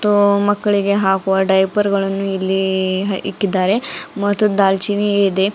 ಊ ಮಕ್ಲಿಗೆ ಹಾಕುವ ಡೈಪರ್ಗಳನ್ನು ಇಲ್ಲಿ ಇಕ್ಕಿದ್ದಾರೆ ಮತ್ತು ದಾಲ್ಚೀನಿ ಇದೆ.